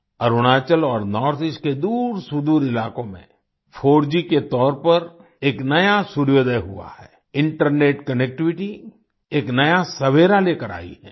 अरुणाचल और north east के दूरसुदूर इलाकों में 4G के तौर पर एक नया सूर्योदय हुआ है इंटरनेट कनेक्टिविटी एक नया सवेरा लेकर आई है